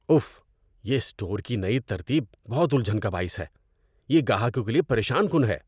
If, یہ store کی نئی ترتیب بہت الجھن کا باعث ہے۔ یہ گاہکوں کے لیے پریشان کن ہے۔